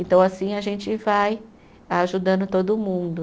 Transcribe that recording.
Então assim a gente vai ajudando todo mundo.